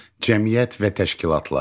Cəmiyyət və təşkilatlar.